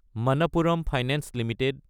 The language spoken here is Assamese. Manappuram finance Ltd